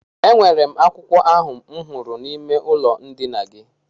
E nwere m akwụkwọ ahụ m hụrụ n'ime ụlọ ndina gị.